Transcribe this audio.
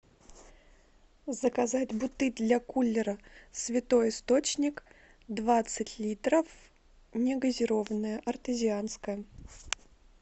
заказать бутыль для кулера святой источник двадцать литров негазированная артезианская